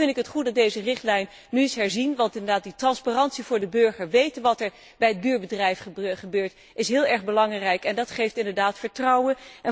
Toch vind ik het goed dat deze richtlijn nu is herzien, want inderdaad die transparantie voor de burger, weten wat er bij het buurbedrijf gebeurt, is heel erg belangrijk en geeft inderdaad vertrouwen